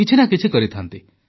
କିଛି ନା କିଛି କରିଥାନ୍ତି